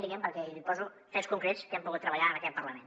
li poso fets concrets que hem pogut treballar en aquest parlament